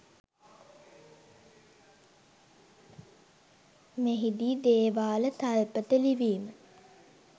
මෙහි දී දේවාල තල්පත ලිවීම